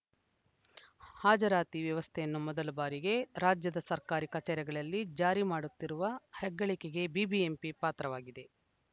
ಹಾಜರಾತಿ ವ್ಯವಸ್ಥೆಯನ್ನು ಮೊದಲ ಬಾರಿಗೆ ರಾಜ್ಯದ ಸರ್ಕಾರಿ ಕಚೇರಿಗಳಲ್ಲಿ ಜಾರಿ ಮಾಡುತ್ತಿರುವ ಹೆಗ್ಗಳಿಕೆಗೆ ಬಿಬಿಎಂಪಿ ಪಾತ್ರವಾಗಿದೆ